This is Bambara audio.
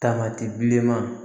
Tamati bilenman